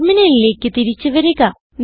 ടെർമിനലിലേക്ക് തിരിച്ച് വരിക